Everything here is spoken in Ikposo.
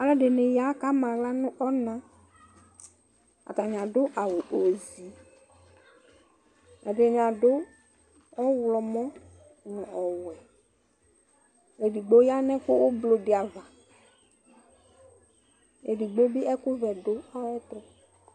Aalʋɛɖini yaa k'ama aɣla n'ɔnaAatani aɖʋ awu ozii, ɛɖini aɖʋ ɔɣlɔmɔ nʋ ɔwuɛƐɖigbo yaa nʋ ɛkʋ ɔblɔɖi ava, eɖigbobi ɛkʋ vɛ ɖʋ ayɛtʋ